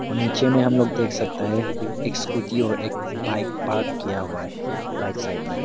और नीचे में हम लोग देख सकता है एक स्कूटी और एक बाइक पार्क किया हुआ है राइट साइड में।